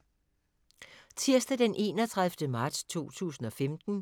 Tirsdag d. 31. marts 2015